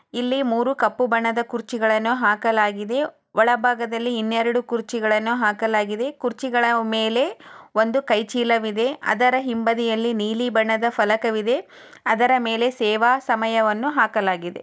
ಇಲ್ಲಿ ಮೂರು ಕಪ್ಪು ಬಣ್ಣದ ಕುರುಚಿಗಳನು ಹಾಕಲಗಿದೆ. ಒಳ ಭಾಗದಲ್ಲಿ ಇನ್ನೆರಡು ಕುರ್ಚಿಗಳನ್ನು ಹಾಕಲಗಿದೆ. ಕುರ್ಚಿಗಳ ಮೇಲೆ ಒಂದು ಕೈ ಚೀಲವಿದೆ ಅದರ ಹಿಂಬದಿಯಲ್ಲಿ ನೀಲಿ ಬಣ್ಣದ ಫಲಕವಿದೆ ಅದರ ಮೇಲೆ ಸೇವಾ ಸಮಯವನ್ನು ಹಾಕಲಗಿದೆ.